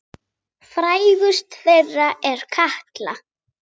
Frægust þeirra er Katla.